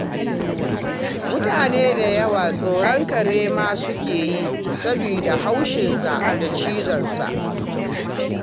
Mutane da yawa tsoron kare ma suke yi, saboda haushinsa da cizonsa.